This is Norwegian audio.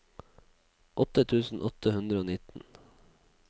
åtte tusen åtte hundre og nitten